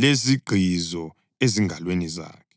lezigqizo ezingalweni zakhe,